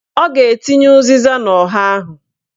Ọ ga-etinye ụzịza n'ọha ahụ